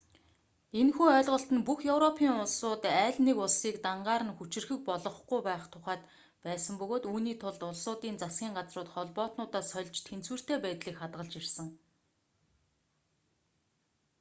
энэхүү ойлголт нь бүх европын улсууд аль нэг улсыг дангаар нь хүчирхэг болгохгүй байх тухайд байсан бөгөөд үүний тулд улсуудын засгийн газрууд холбоотнуудаа сольж тэнцвэртэй байдлыг хадгалж ирсэн